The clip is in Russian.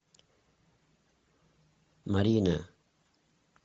марина